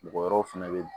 Mɔgɔ wɛrɛw fɛnɛ be